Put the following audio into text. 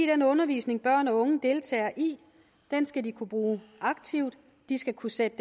den undervisning børn og unge deltager i skal de kunne bruge aktivt de skal kunne sætte